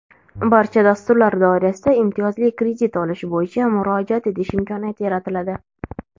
barcha dasturlar doirasida imtiyozli kredit olish bo‘yicha murojaat etish imkoniyati yaratiladi;.